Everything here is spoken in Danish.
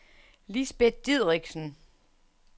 Lisbet Dideriksen